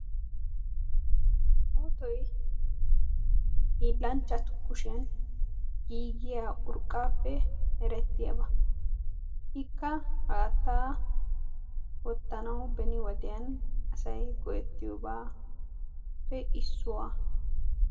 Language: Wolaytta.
Otoy hiillanchchatu kushiyan giigiya urqaappe merettiyaba. ikka haatta wottanawu beni wodiyan asay go"etiyooba.